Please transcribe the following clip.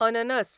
अननस